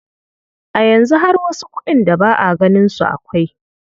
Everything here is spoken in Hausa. A yanzu har wasu kuɗin da ba a ganin su akwai.